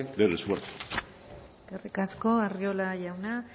del esfuerzo eskerrik asko arriola jauna